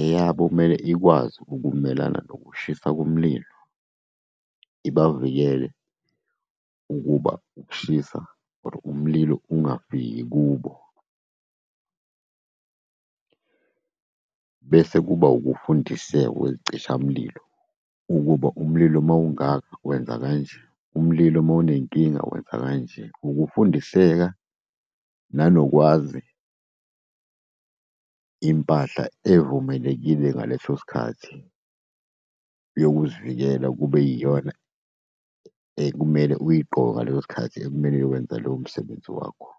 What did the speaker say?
Eyabo kumele ikwazi ukumelana nokushisa komlilo, ibavikele ukuba ukushisa or umlilo ungafiki kubo. Bese kuba ukufundiseka kwey'cishamlilo, ukuba umlilo mawungaka, wenza kanje, umlilo mawunenkinga, wenza kanje. Ukufundiseka nanokwazi impahla evumelekile ngaleso sikhathi, yokuzivikela, kube yiyona okumele uyigqoke ngaleso sikhathi ekumele uyokwenza loyo msebenzi wakho.